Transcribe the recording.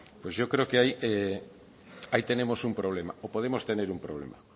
pues yo creo que ahí tenemos un problema o podemos tener un problema